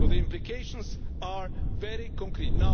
The implications are very concrete.